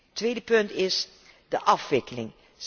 Het tweede punt is de afwikkeling.